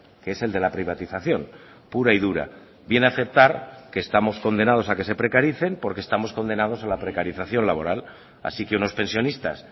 que es el de la privatización pura y dura viene a aceptar que estamos condenados a que se precaricen porque estamos condenados a la precarización laboral así que unos pensionistas